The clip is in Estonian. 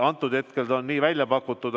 Praegu see on nii välja pakutud.